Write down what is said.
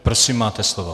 Prosím, máte slovo.